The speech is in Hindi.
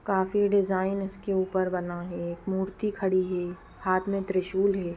कॉफी डिज़ाइन इसके ऊपर बना है एक मूर्ति खड़ी है हाथ में त्रिशूल हे।